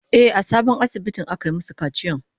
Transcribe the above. E, a sabon asibitin aka yi masu kaciyan.